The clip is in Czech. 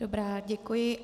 Dobrá, děkuji.